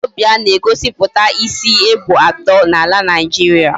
Wazobia na egosiputa isi ebo ato na ala Nigeria